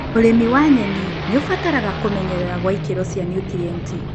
ũrĩmi wa nyeni nĩ ũbataraga kũmenyerera gwa ikĩro cia nutrienti.